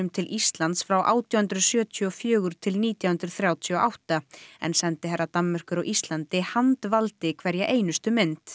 til Íslands frá átján hundruð sjötíu og fjögur til nítján hundruð þrjátíu og átta en sendiherra Danmerkur á Íslandi handvaldi hverja einustu mynd